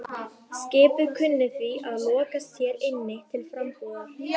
Skipið kunni því að lokast hér inni til frambúðar.